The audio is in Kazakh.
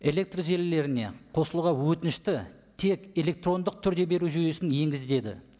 электр желілеріне қосылуға өтінішті тек электрондық түрде беру жүйесін енгізіледі